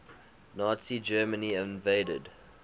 nazi germany invaded